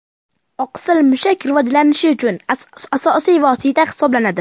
Oqsil mushak rivojlanishi uchun asosiy vosita hisoblanadi.